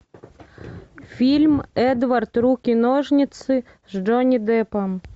фильм эдвард руки ножницы с джонни деппом